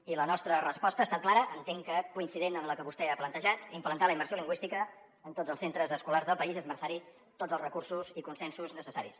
i la nostra resposta ha estat clara entenc que coincident amb la que vostè ha plantejat implantar la immersió lingüística en tots els centres escolars del país i esmerçar hi tots els recursos i consensos necessaris